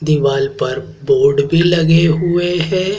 दीवाल पर बोर्ड भी लगे हुए हैं।